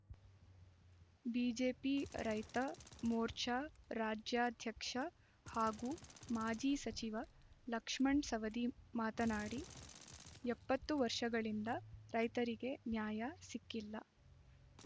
BJP ರೈತ ಮೋರ್ಚಾ ರಾಜ್ಯಾಧ್ಯಕ್ಷ ಹಾಗೂ ಮಾಜಿ ಸಚಿವ ಲಕ್ಷ್ಮಣ್‌ಸವದಿ ಮಾತನಾಡಿ ಎಪ್ಪತ್ತು ವರ್ಷಗಳಿಂದ ರೈತರಿಗೆ ನ್ಯಾಯ ಸಿಕ್ಕಿಲ್ಲ